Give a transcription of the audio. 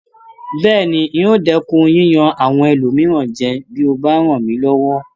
Bẹ́ẹ̀ni, n o dẹ́kun yíyan àwọn ẹlòmíràn jẹ bí o bá ràn mí lọwọ